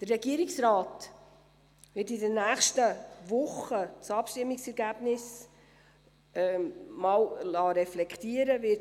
Der Regierungsrat wird das Abstimmungsergebnis in den nächsten Wochen reflektieren lassen.